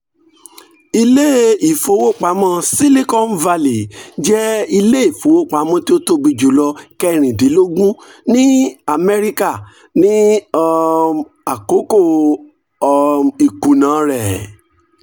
ile-ifowopamọ silicon valley jẹ ile-ifowopamọ ti o tobi julọ kẹrindinlogun ni amẹrika ni um akoko um ikuna rẹ